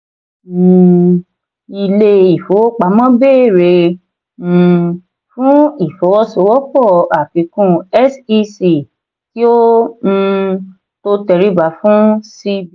um ilé ìfowópamọ́ béèrè um fún ìfọwọ́sowọ́pọ̀ àfikún sec kí ó um tó tẹríba fún cbn.